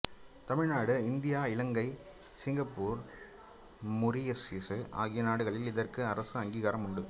தமிழ்நாடுஇந்தியா இலங்கை சிங்கப்பூர்மொரிசியசு ஆகிய நாடுகளில் இதற்கு அரச அங்கீகாரம் உண்டு